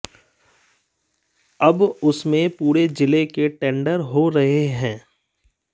अब उसमें पूरे जिले के टेंडर हो रहे हैं